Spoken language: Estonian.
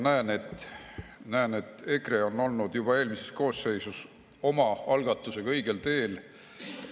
Ja näen, et EKRE on olnud juba eelmises koosseisus oma algatusega õigel teel.